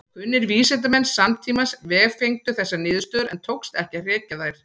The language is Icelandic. Kunnir vísindamenn samtímans vefengdu þessar niðurstöður en tókst ekki að hrekja þær.